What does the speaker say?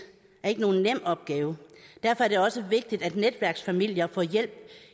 er ikke nogen nem opgave derfor er det også vigtigt at netværksfamilier får hjælp